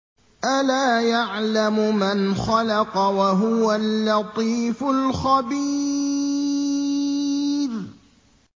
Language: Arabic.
أَلَا يَعْلَمُ مَنْ خَلَقَ وَهُوَ اللَّطِيفُ الْخَبِيرُ